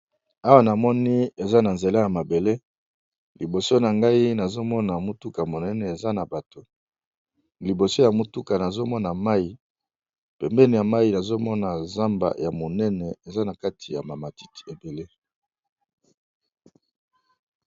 Awa nazomoni eza na nzela ya mabele liboso na ngai nazomona motuka monene eza na bato likolo ya motuka ezoleka likolo ya mayi. Pembeni eza na zamba ya monene eza na kati ba ma matiti ebele.